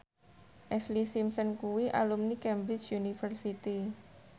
Ashlee Simpson kuwi alumni Cambridge University